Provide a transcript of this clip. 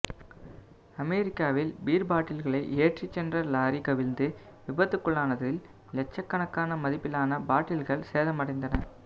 அமெரிக்காவில் பீர்பாட்டில்களை ஏற்றி சென்ற லாரி கவிழ்ந்து விபத்துக்குள்ளானதில் லட்சக்கணக்கான மதிப்பிலான மதுபாட்டில்கள் சேதம் அடைந்தன